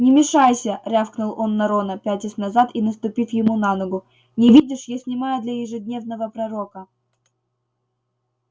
не мешайся рявкнул он на рона пятясь назад и наступив ему на ногу не видишь я снимаю для ежедневного пророка